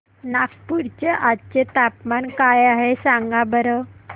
नागपूर चे आज चे तापमान काय आहे सांगा बरं